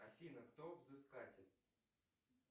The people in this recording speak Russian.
афина кто взыскатель